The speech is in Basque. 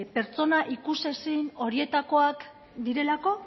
pertsona ikusezin horietakoak direlako